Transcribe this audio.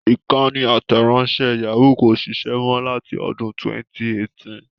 Ìkànnì àtẹ̀ránṣẹ́ Yahoo kò ṣiṣẹ́ mọ láti ọdún 2018.